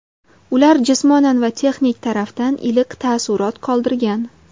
Ular jismonan va texnik tarafdan iliq taassurot qoldirgan.